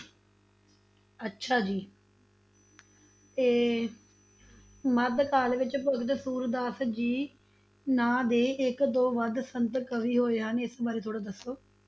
ਅੱਛਾ ਜੀ ਤੇ, ਮੱਧ ਕਾਲ ਵਿਚ ਭਗਤ ਸੂਰਦਾਸ ਜੀ ਨਾਂ ਦੇ ਇਕ ਤੋਂ ਵੱਧ ਸੰਤ ਕਵੀ ਹੋਏ ਹਨ ਇਸ ਬਾਰੇ ਥੋੜਾ ਦੱਸੋ